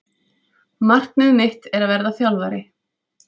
Markmið mitt er að verða þjálfari